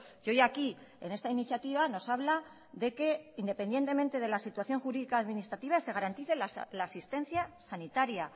y hoy aquí en esta iniciativa nos habla de que independientemente de la situación jurídica administrativa se garantice la asistencia sanitaria